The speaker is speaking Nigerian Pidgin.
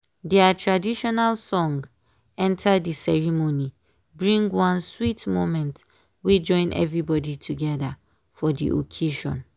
their traditional song enter dey ceremony bring one sweet moment wey join everybody together for dey occasion